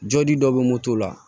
Jɔli dɔ bɛ moto la